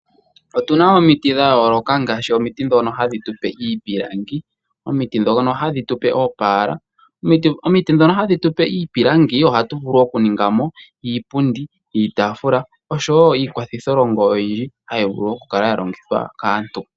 Otuna omiti dhayooloka, ohadhi tu pe iipilangi nenge oopaala. Omiti ndhono hadhi tu pe iipilangi ihatu vulu okuninga mo iipundi, iitaafula osho wo iikwathitho longo mbyoka hayi longithwa kaantu.